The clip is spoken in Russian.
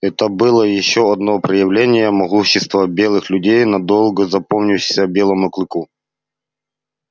это было ещё одно проявление могущества белых людей надолго запомнившееся белому клыку